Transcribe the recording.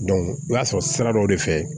i b'a sɔrɔ sira dɔ de fɛ